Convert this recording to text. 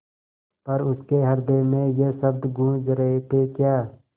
पर उसके हृदय में ये शब्द गूँज रहे थेक्या